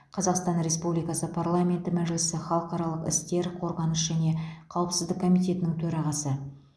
қазақстан республикасы парламенті мәжілісі халықаралық істер қорғаныс және қауіпсіздік комитетінің төрағасы